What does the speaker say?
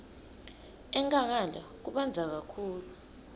enkhangala kubandza kakhulu